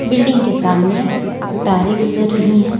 Building के सामने तारे गुजर रही हैं।